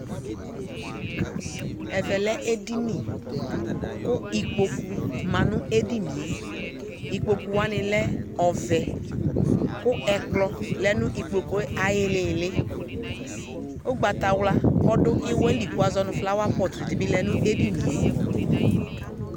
Ɛvɛ lɛ edini , kʋ ikpoku ma nʋ edinie ; ipokuwanɩ lɛ ɔvɛ, kʋ ɛkplɔ lɛ nʋ ikpokue ay'ɩɩlɩɩlɩ Ʋgbatawla ɔdʋ ɩwɛ li kʋ wʋazɔ nʋ flawapɔt dɩ bɩ lɛ nʋ edinie